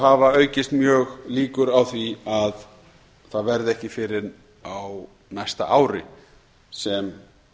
hafa aukist mjög líkur á því að það verði ekki fyrr en á næsta ári sem